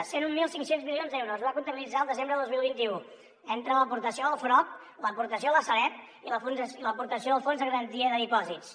cent i mil cinc cents milions d’euros es va comptabilitzar el desembre del dos mil vint u entre l’aportació del frob l’aportació de la sareb i l’aportació del fons de garantia de dipòsits